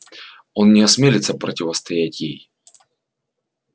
он не осмелится противостоять ей